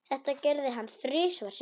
Þetta gerði hann þrisvar sinnum.